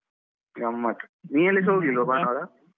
ಗಮ್ಮತ್ ನೀವೆಲ್ಲಿಸ ಹೋಗ್ಲಿಲ್ವಾ ಭಾನುವಾರ?